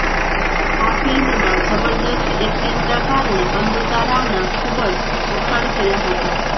આ ફિલ્મમાં જબરદસ્ત એક્ટિંગનાં કારણે અમૃતા રાવના ખુબ જ વખાણ થયા હતા